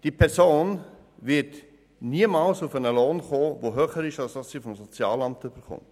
Diese Person wird niemals auf einen Lohn kommen, der höher ist als der Betrag, den sie vom Sozialamt erhält.